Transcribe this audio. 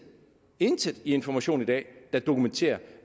intet i information i dag der dokumenterer